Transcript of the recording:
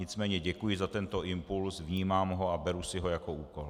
Nicméně děkuji za tento impuls, vnímám ho a beru si ho jako úkol.